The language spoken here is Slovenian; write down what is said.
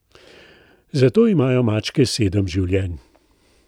Zato imajo mačke sedem življenj.